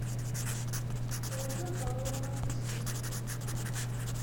ольга павловна устименко